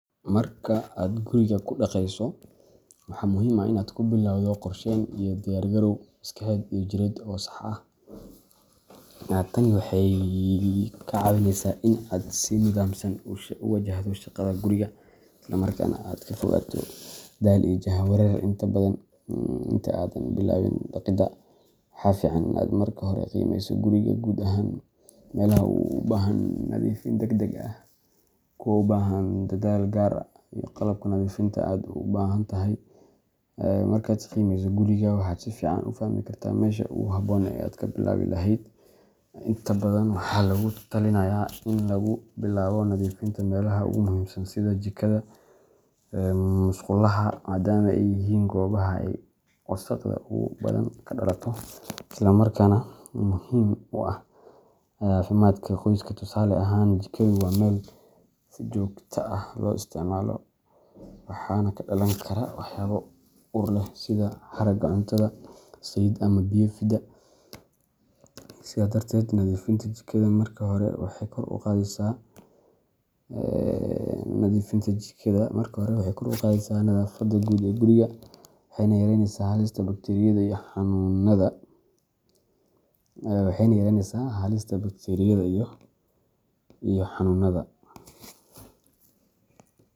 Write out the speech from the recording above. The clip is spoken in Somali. Marka aad guriga ku dhaqayso, waxaa muhiim ah in aad ku bilowdo qorsheyn iyo diyaar garow maskaxeed iyo jireed oo sax ah. Tani waxay kaa caawineysaa in aad si nidaamsan u wajahdo shaqada guriga, isla markaana aad ka fogaato daal iyo jahwareer. Inta aadan bilaabin dhaqidda, waxa fiican in aad marka hore qiimeyso guriga guud ahaan — meelaha u baahan nadiifin degdeg ah, kuwa u baahan dadaal gaar ah, iyo qalabka nadiifinta aad u baahan tahay. Markaad qiimeyso guriga, waxaad si fiican u fahmi kartaa meesha ugu habboon ee aad ka bilaabi lahayd. Inta badan, waxaa lagu talinayaa in lagu bilaabo nadiifinta meelaha ugu muhiimsan sida jikada ama musqulaha, maadaama ay yihiin goobaha ay wasakhda ugu badan ka dhalato, islamarkaana muhiim u ah caafimaadka qoyska. Tusaale ahaan, jikadu waa meel si joogto ah loo isticmaalo, waxaana ka dhalan kara waxyaabo ur leh sida haraaga cuntada, saliid, ama biyo fida. Sidaa darteed, nadiifinta jikada marka hore waxay kor u qaadaysaa nadaafadda guud ee guriga, waxayna yareynaysaa halista bakteeriyada iyo xanuunada